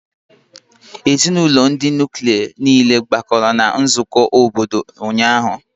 Ezinụlọ ndị nuklia niile gbakọrọ na nzukọ obodo ụnyaahụ